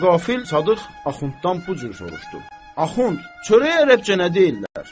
Nəqafil Sadıq Axunddan bu cür soruşdu: Axund, çörək ərəbcə nə deyirlər?